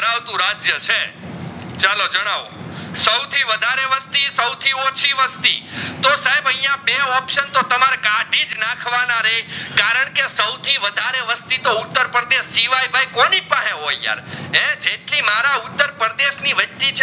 વસ્તી તો સાહેબ આઇયાં બે option તમારે કાધીજ નાખવાના રેજ કારણકે સાવથીઉ વધારે વસ્તી ઉત્તરપ્રદેશ કોની પાસે હોય યાર હે જેટલી મારા ઉત્તરપ્રદેશ ની વસ્તી